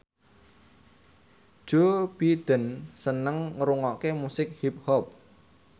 Joe Biden seneng ngrungokne musik hip hop